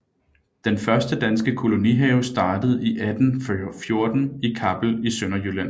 Den første danske kolonihave startede i 1814 i Kappel i Sønderjylland